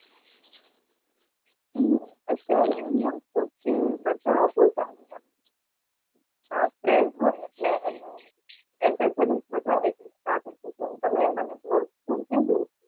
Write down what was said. હમ આપડે હોય એટલે Accessories વધારે